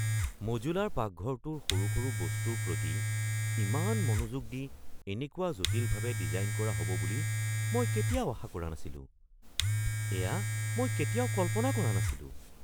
Modular পাকঘৰটোৰ সৰু সৰু বস্তুৰ প্ৰতি ইমান মনোযোগ দি এনেকুৱা জটিলভাৱে ডিজাইন কৰা হ'ব বুলি মই কেতিয়াও আশা কৰা নাছিলোঁ! এয়া মই কেতিয়াও কল্পনা কৰা নাছিলোঁ।